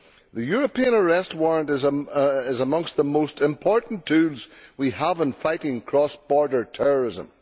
The European Arrest Warrant is amongst the most important tools we have in fighting cross border terrorism.